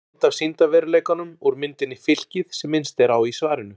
Stafræn mynd af sýndarveruleikanum úr myndinni Fylkið sem minnst er á í svarinu.